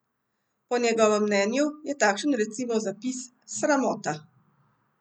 Po njegovem mnenju je takšen recimo zapis: "Sramota.